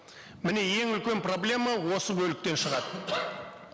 міне ең үлкен проблема осы бөліктен шығады